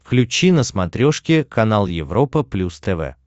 включи на смотрешке канал европа плюс тв